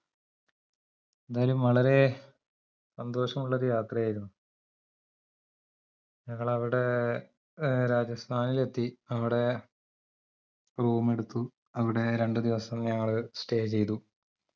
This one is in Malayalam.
എന്താലും വളരെ സന്തോഷമുള്ളൊരു യാത്രയായിരുന്നു ഞങ്ങൾ അവിടെ ഏർ രാജസ്ഥാനിലെത്തി അവിടെ room എടുത്തു അവടെ രണ്ടുദിവസം ഞങ്ങള് stay ചെയ്തു